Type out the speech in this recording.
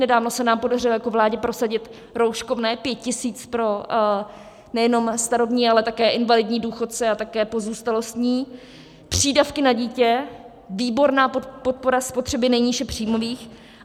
Nedávno se nám podařilo jako vládě prosadit rouškovné 5 tisíc pro nejenom starobní, ale také invalidní důchodce a také pozůstalostní, přídavky na dítě, výborná podpora spotřeby nejníže příjmových.